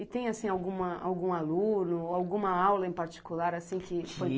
E tem, assim, algum aluno, alguma aula em particular assim, que foi